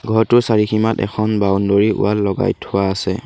ঘৰটোৰ চাৰিসীমাত এখন বাউণ্ড'ৰী ৱাল লগাই থোৱা আছে।